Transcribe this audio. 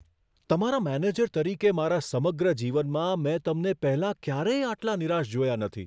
તમારા મેનેજર તરીકે મારા સમગ્ર જીવનમાં, મેં તમને પહેલાં ક્યારેય આટલા નિરાશ જોયા નથી.